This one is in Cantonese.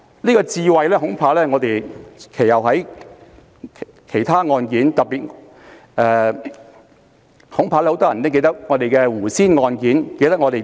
"這個智慧恐怕在其後很多其他案件中均受到挑戰，特別是很多人記得的胡仙案。